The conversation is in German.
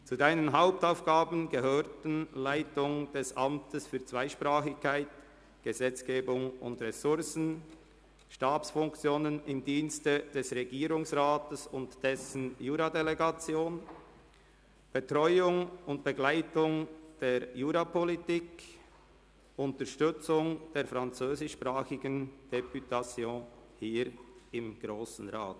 Zu Ihren Hauptaufgaben gehörten die Leitung des Amts für Zweisprachigkeit, Gesetzgebung und Ressourcen, Stabsfunktionen im Dienst des Regierungsrats und dessen Juradelegation, die Betreuung und Begleitung der Jurapolitik sowie die Unterstützung der französischsprachigen Députation hier im Grossen Rat.